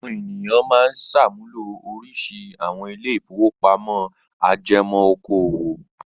Àwọn ènìyàn máa ń ṣàmúlò oríṣiríṣi àwọn ilé-ìfowópamọ́sí ajẹmọ́ okòwò.